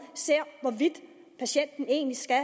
ser hvorvidt patienten egentlig skal